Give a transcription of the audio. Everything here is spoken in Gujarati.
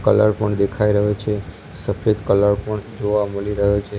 કલર પણ દેખાય રહ્યો છે સફેદ કલર પણ જોવા મળી રહ્યો છે.